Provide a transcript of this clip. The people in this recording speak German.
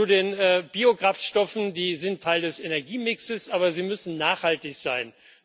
Zu den Biokraftstoffen Die sind Teil des Energiemixes, aber sie müssen nachhaltig sein.